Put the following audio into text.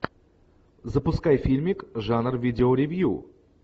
запускай фильмик жанр видеоревью